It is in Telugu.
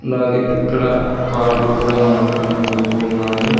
అలాగే ఇక్కడ కార్లు కూడా మనకు కనబడుతూ ఉన్నాయి.